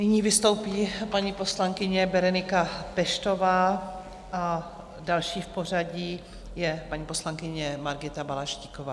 Nyní vystoupí paní poslankyně Berenika Peštová a další v pořadí je paní poslankyně Margita Balaštíková.